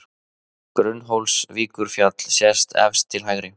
Gunnólfsvíkurfjall sést efst til hægri.